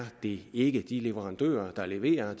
det ikke de leverandører der leverer